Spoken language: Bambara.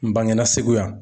N bangena Segu yan.